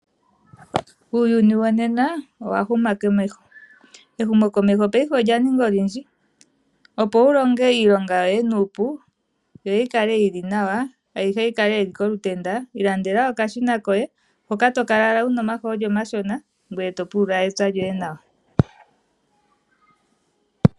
Uuyuni wonena owahuma komeho . Ehumokomeho paife olyaninga olindji opo wulinge iilonga yoye nuupu yi yikale yili nawa yo yikale yili kolutenda. Ilandela okashina koye hoka tokala owala wuna omahooli omashona ngoye topulula wpya lyoye nawa.